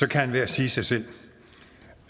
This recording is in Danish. kan enhver sige sig selv